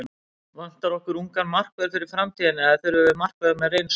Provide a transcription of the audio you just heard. Vantar okkur ungan markvörð fyrir framtíðina eða þurfum við markvörð með reynslu?